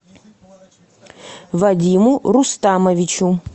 вадиму рустамовичу